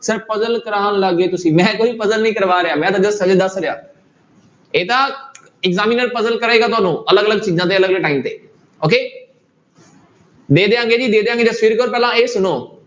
Sir puzzle ਕਰਵਾਉਣ ਲੱਗ ਗਏ ਤੁਸੀਂ, ਮੈਂ ਕੋਈ puzzle ਨਹੀਂ ਕਰਵਾ ਰਿਹਾ, ਮੈਂ ਤਾਂ just ਹਜੇ ਦੱਸ ਰਿਹਾਂ, ਇਹ ਤਾਂ examiner puzzle ਕਰੇਗਾ ਤੁਹਾਨੂੰ ਅਲੱਗ ਅਲੱਗ ਚੀਜ਼ਾਂ ਤੇ ਅਲੱਗ ਅਲੱਗ time ਤੇ okay ਦੇ ਦਿਆਂਗੇ ਜੀ ਦੇ ਦਿਆਂਗੇ ਜਸਵੀਰ ਕੌਰ ਪਹਿਲਾਂ ਇਹ ਸੁਣੋ।